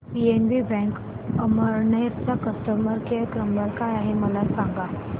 PNB bank Amalner चा customer care number काय आहे मला सांगा